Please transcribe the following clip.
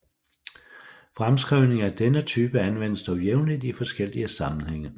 Fremskrivninger af denne type anvendes dog jævnligt i forskellige sammenhænge